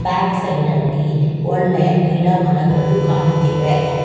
Back ಸೈಡಲ್ಲಿ ಒಳ್ಳೆ ಗಿಡಮರಗಳು ಕಾಣುತ್ತಿವೆ.